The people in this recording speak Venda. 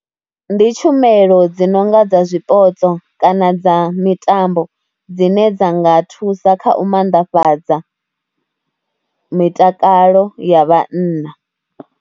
Ndi tshumelo dzi no nga dza zwipotso kana dza mitambo dzine dza nga thusa kha u maanḓafhadza, mitakalo ya vhanna.